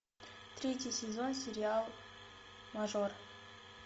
третий сезон сериал мажор